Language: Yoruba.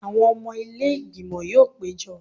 Àwọn ọmọ ilé ìgbìmọ̀ yóò péjọ